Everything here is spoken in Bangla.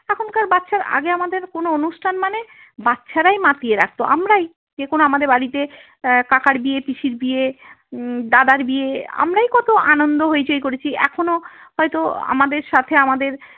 এখনকার বাচ্ছা আগে আমাদের কোন অনুষ্ঠান মানে বাচ্ছারাই মাতিয়ে রাখত আমরাই যেকোনো আমাদের বাড়িতে আহ কাকার বিয়ে পিসির বিয়ে উম দাদার বিয়ে আমরাই কত আনন্দ হইচই করেছি এখনো হয়ত আমাদের সাথে আমাদের।